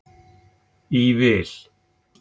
í vil.